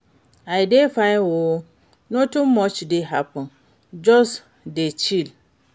I dey fine oo, nothing much dey happen, just dey chill.